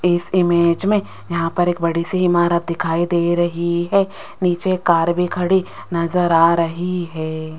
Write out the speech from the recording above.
इस इमेज में यहां पर एक बड़ी सी इमारत दिखाई दे रही है नीचे कार भी खड़ी नजर आ रही है।